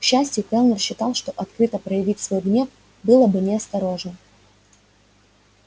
к счастью кэллнер считал что открыто проявить свой гнев было бы неосторожно